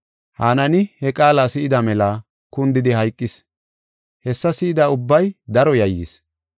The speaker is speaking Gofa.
Hanaani he qaala si7ida mela kundidi hayqis; hessa si7ida ubbay daro yayyis.